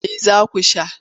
Me za ku sha?